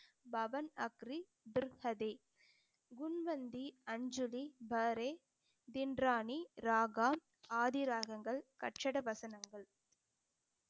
பவன் அக்ரி, துர்ஹதே, குண்வந்தி, அஞ்சுழி, பாரே, திண்ராணி, ராகா, ஆதி ராகங்கள், கட்சட வசனங்கள்